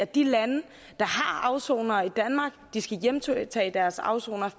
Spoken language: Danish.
de lande der har afsonere i danmark skal hjemtage deres afsonere